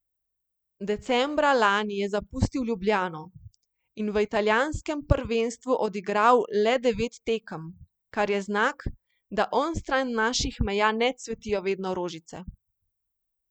Decembra lani je zapustil Ljubljano in v italijanskem prvenstvu odigral le devet tekem, kar je znak, da onstran naših meja ne cvetijo vedno rožice.